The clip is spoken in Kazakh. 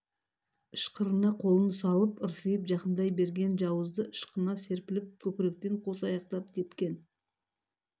ышқырына қолын салып ырсиып жақындай берген жауызды ышқына серпіліп көкіректен қос аяқтап тепкен